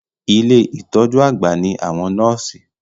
Ilé ìtọjú àgbà ní àwọn nọ́ọ̀sì.